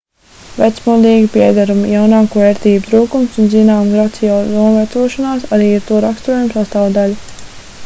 vecmodīgi piederumi jaunāko ērtību trūkums un zināma gracioza novecošanās arī ir to raksturojuma sastāvdaļa